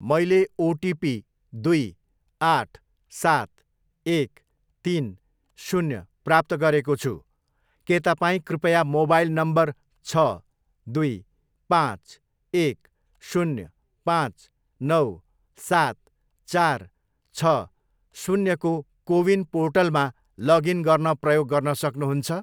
मैले ओटिपी दुई आठ सात एक तिन शून्य प्राप्त गरेको छु, के तपाईँँ कृपया मोबाइल नम्बर छ, दुई, पाँच, एक, शून्य, पाँच, नौ, सात, चार, छ, शून्यको कोविन पोर्टलमा लगइन गर्न प्रयोग गर्न सक्नुहुन्छ?